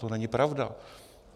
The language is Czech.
To není pravda.